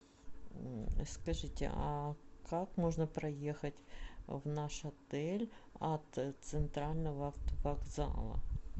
скажите а как можно проехать в наш отель от центрального автовокзала